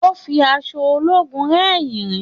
Ó ń fi aṣọ ológun rẹ̀ irin